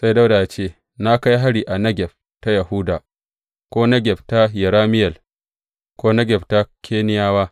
Sai Dawuda yă ce, Na kai hari a Negeb ta Yahuda, ko Negeb ta Yerameyel, ko Negeb na Keniyawa.